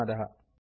धन्यवादः